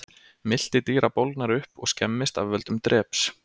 Milti dýra bólgnar upp og skemmist af völdum dreps.